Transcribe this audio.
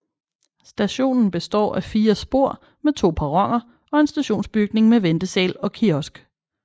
Stationen består af fire spor med to perroner og en stationsbygning med ventesal og kiosk